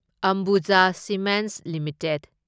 Ambuja cements limited